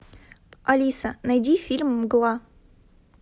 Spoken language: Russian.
алиса найди фильм мгла